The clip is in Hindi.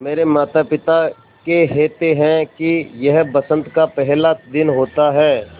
मेरे माता पिता केहेते है कि यह बसंत का पेहला दिन होता हैँ